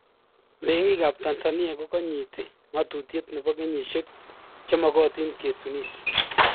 Meng'iik ab Tanzania ko ganyiiti ng'atutiet nebo kenyishek che magatiin ketunis